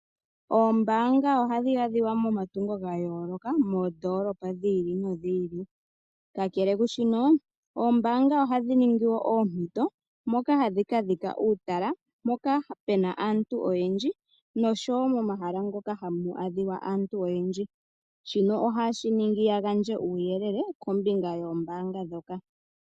Oombaanga ohadhi adhikwa momatungo gayooloka, moondoolopa dhili nodhili. Kakele kwaashino, oombaanga ohadhi ningiwo oompito moka hadhi kala dha dhika uutala, mpoka puna aantu oyendji noshowoo momahala moka hamu adhika aantu oyendji . Shino ohashi ningi yagandje uuyelele kombinga yoombaanga ndhoka.